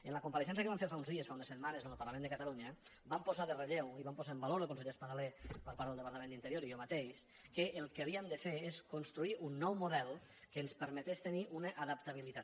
en la compareixença que vam fer fa uns dies fa unes setmanes en el parlament de catalunya vam posar en relleu i vam posar en valor el conseller espadaler per part del departament d’interior i jo mateix que el que havíem de fer és construir un nou model que ens permetés tenir una adaptabilitat